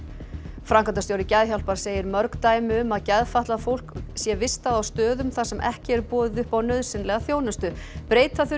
framkvæmdastjóri Geðhjálpar segir mörg dæmi um að geðfatlað fólk sé vistað á stöðum þar sem ekki er boðið upp á nauðsynlega þjónustu breyta þurfi